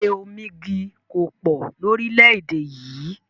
Ilé omígi kòpò lóríléédè yì